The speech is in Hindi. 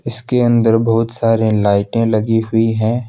इसके अंदर बहुत सारे लाईटे लगी हुई हैं।